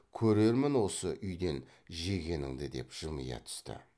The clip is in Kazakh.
көрермін осы үйден жегеніңді деп жымия түсті